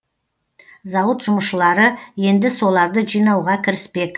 зауыт жұмысшылары енді соларды жинауға кіріспек